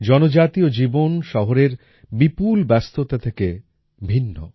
জনজাতীয় জীবন শহরের বিপুল ব্যস্ততা থেকে ভিন্ন